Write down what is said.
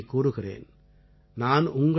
நான் மீண்டும் ஒருமுறை கூறுகிறேன்